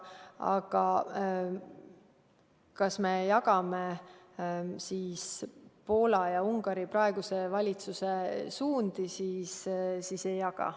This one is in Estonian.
Aga kui küsimus on, kas me jagame Poola ja Ungari praeguse valitsuse suundi, siis vastus on, et ei jaga.